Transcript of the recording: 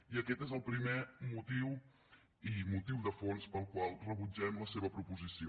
i aquest és el primer motiu i motiu de fons pel qual rebutgem la seva proposició